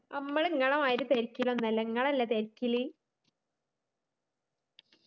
അമ്മള് ഇങ്ങളെ മാതിരി തിരക്കിലൊന്നുല്ല ഇങ്ങളല്ലേ തിരക്കില്